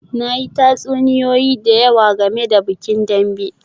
Na yi tatsuniyoyi da yawa game da bikin Dambe